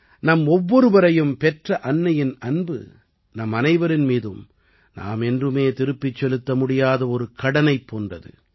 நம் ஒவ்வொருவரையும் பெற்ற அன்னையின் அன்பு நம் அனைவரின் மீதும் நாம் என்றுமே திருப்பிச் செலுத்த முடியாத ஒரு கடனைப் போன்றது